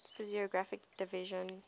physiographic divisions